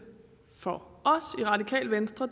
for os i radikale venstre